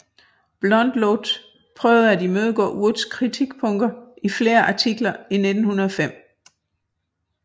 Blondlot prøvede at imødegå Woods kritikpunkter i flere artikler i 1905